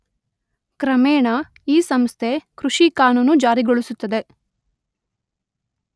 ಕ್ರಮೇಣ ಈ ಸಂಸ್ಥೆ ಕೃಷಿ ಕಾನೂನು ಜಾರಿಗೊಳಿಸುತ್ತದೆ